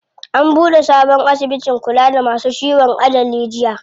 An buɗe sabon asibitin kula da masu ciwon ajali jiya.